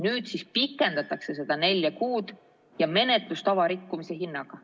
Nüüd siis pikendatakse seda nelja kuud – ja menetlustava rikkumise hinnaga.